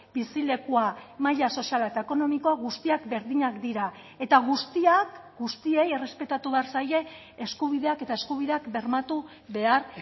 bizilekua maila soziala eta ekonomikoa guztiak berdinak dira eta guztiak guztiei errespetatu behar zaie eskubideak eta eskubideak bermatu behar